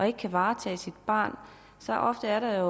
ikke varetage sit barns tarv er der jo